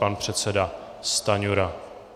Pan předseda Stanjura.